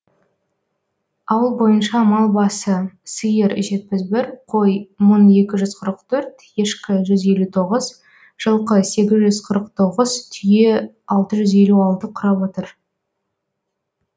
ауыл бойынша мал басы сиыр жетпіс бір қой мың екі жүз қырық төрт ешкі жүз елу тоғыз жылқы сегіз жүз қырық тоғыз түйе алты жүз елу алты құрап отыр